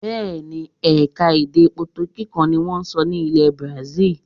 Bẹ́ẹ̀ ni, ẹ̀ka-èdè potogí kan ni wọ́n ń sọ ní ilẹ̀ bazil.